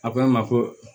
A ko n ma ko